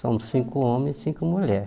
Somos cinco homens e cinco mulheres.